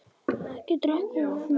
Ekki drekka of mikið.